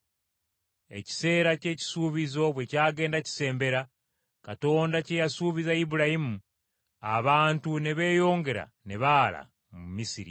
“Ekiseera ky’ekisuubizo bwe kyagenda kisembera, Katonda kye yasuubiza Ibulayimu, abantu ne beeyongera ne baala mu Misiri.